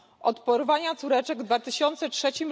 od porwania córeczek w 2003